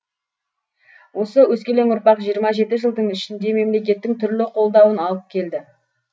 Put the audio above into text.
осы өскелең ұрпақ жиырма жеті жылдың ішінде мемлекеттің түрлі қолдауын алып келді